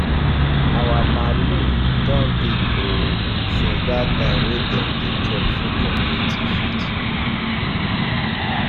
our malu don big oo since that time wey dem dey chop for community field